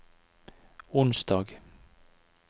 onsdag